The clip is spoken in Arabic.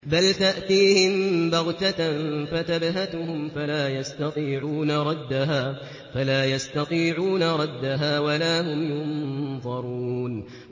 بَلْ تَأْتِيهِم بَغْتَةً فَتَبْهَتُهُمْ فَلَا يَسْتَطِيعُونَ رَدَّهَا وَلَا هُمْ يُنظَرُونَ